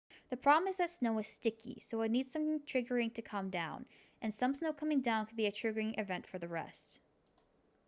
the problem is that snow is sticky so it needs some triggering to come down and some snow coming down can be the triggering event for the rest